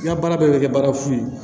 I ka baara bɛɛ bɛ kɛ baara fu ye